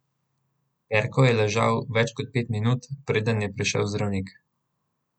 Perko je ležal več kot pet minut, preden je prišel zdravnik.